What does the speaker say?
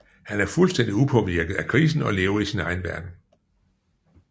Han er fuldstændig upåvirket af krisen og lever i sin egen verden